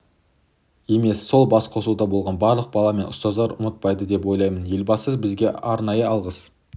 емес сол басқосуда болған барлық бала мен ұстаздар ұмытпайды деп ойлаймын елбасы бізге арнайы алғыс